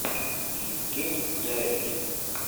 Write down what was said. евгений дарий